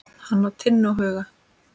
Hann á Tinnu og Huga.